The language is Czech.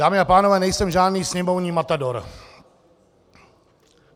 Dámy a pánové, nejsem žádný sněmovní matador.